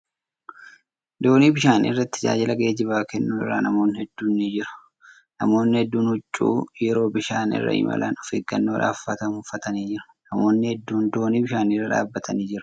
Doonii bishaan irratti tajaajila geejjibaa keennu irra namoonni hedduun ni jiru. Namootni hedduun huccuu yeroo bishaan irra imalan, of eeggannoodhaf uffatamu uffatanii jiru. Namootni hedduun doonii bishaanii irra dhaabbatanii jiru.